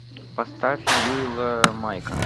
поставь ньюэлла майка